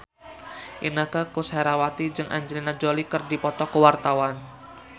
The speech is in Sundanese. Inneke Koesherawati jeung Angelina Jolie keur dipoto ku wartawan